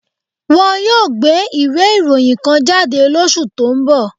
Wọ́n yóò gbé ìwé ìròyìn kan jáde lóṣù tó ń bọ̀